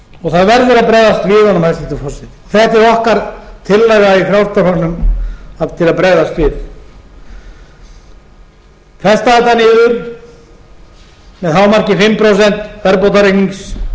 og það verður að bregðast við honum hæstvirtur forseti þetta er okkar tillaga í frjálslynda flokknum til að bregðast við festa þetta niður með að hámarki fimm prósent verðbótareikningi og gefa